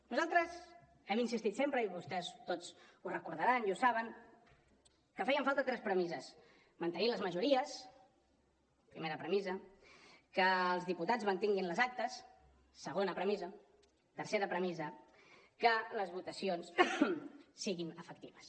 nosaltres hem insistit sempre i vostès tots ho deuen recordar i ho saben que feien falta tres premisses mantenir les majories primera premissa que els diputats mantinguin les actes segona premissa tercera premissa que les votacions siguin efectives